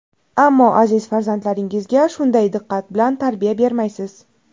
Ammo aziz farzandlaringizga shunday diqqat bilan tarbiya bermaysiz.